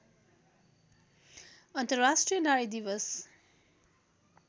अन्तर्राष्ट्रिय नारी दिवस